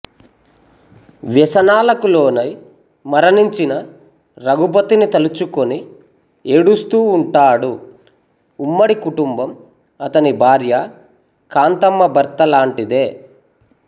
వ్యసనాలకులోనై మరణించిన రఘుపతిని తలుచుకొని ఏడుస్తూ వుంటాడు ఉమ్మడికుటుంబం అతని భార్య కాంతమ్మ భర్త లాంటిదే